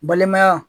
Balimaya